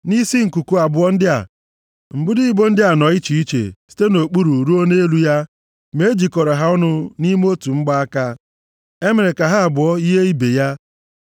Nʼisi nkuku abụọ ndị a, mbudo ibo ndị a nọ iche iche site nʼokpuru ruo nʼelu ya; ma e jikọrọ ha ọnụ nʼime otu mgbaaka. Emere ka ha abụọ yie ibe ya.